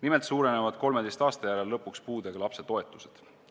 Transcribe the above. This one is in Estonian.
Nimelt suurenevad 13 aasta järel lõpuks puudega lapse toetused.